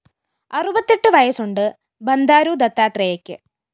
അറുപത്തെട്ട് വയസ്സുണ്ട് ബന്ദാരു ദത്താത്രേയയ്ക്ക്